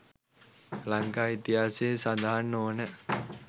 ලංකා ඉතිහාසයේ සඳහන් නොවන